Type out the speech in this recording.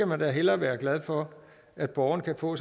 man da hellere være glad for at borgerne kan få